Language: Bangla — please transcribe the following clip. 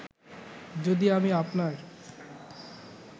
যদি আমি আপনার